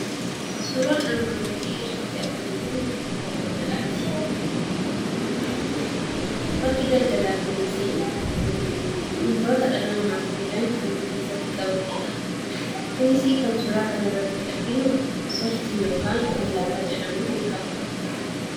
Suuraan armaan gaditti arginu kun bakka daldalaati. Bakki daldalaa kunis wantoota dhala namaatiif fayyadan kan of keessatti qabatedha. Kunis kan suuraa kana irratti arginu "sooftii" yookaan lallaafaa jedhamuun beekama.